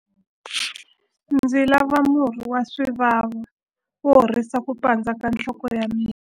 Ndzi lava murhi wa swivavi wo horisa ku pandza ka nhloko ya mina.